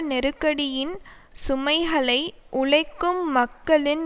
நெருக்கடியின் சுமைகளை உழைக்கும் மக்களின்